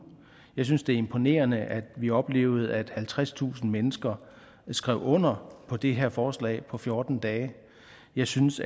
jeg synes det er imponerende at vi oplevede at halvtredstusind mennesker skrev under på det her forslag på fjorten dage jeg synes